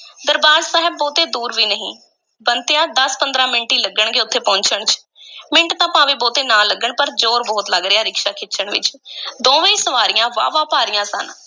ਦਰਬਾਰ ਸਾਹਿਬ ਬਹੁਤੇ ਦੂਰ ਵੀ ਨਹੀਂ, ਬੰਤਿਆ, ਦਸ-ਪੰਦਰਾਂ ਮਿੰਟ ਹੀ ਲੱਗਣਗੇ ਉਥੇ ਪਹੁੰਚਣ ਵਿੱਚ ਮਿੰਟ ਤਾਂ ਭਾਵੇਂ ਬਹੁਤੇ ਨਾ ਲੱਗਣ ਪਰ ਜ਼ੋਰ ਬਹੁਤ ਲੱਗ ਰਿਹਾ ਰਿਕਸ਼ਾ ਖਿੱਚਣ ਵਿੱਚ ਦੋਵੇਂ ਸਵਾਰੀਆਂ ਵਾਹਵਾ ਭਾਰੀਆਂ ਸਨ।